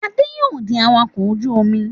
Adé yóò di awakọ̀ ojú-omi.